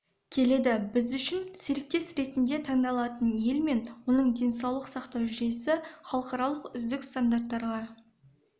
келеді біз үшін серіктес ретінде таңдалатын ел мен оның денсаулық сақтау жүйесі халықаралық үздік стандарттарға